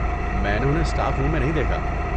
میں نے انہیں اسٹاف روم میں نہیں دیکھا۔